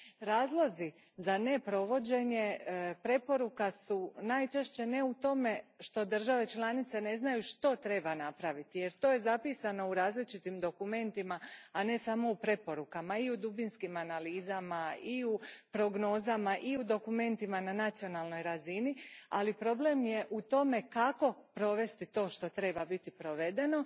Razlozi za neprovođenje preporuka su najčešće ne u tome što države članice ne znaju što treba napraviti, jer to je zapisano u različitim dokumentima, a ne samo u preporukama i dubinskim analizama i prognozama i dokumentima na nacionalnoj razini, ali problem je u tome kako provesti to što treba biti provedeno.